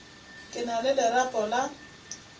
ke na le lerapo la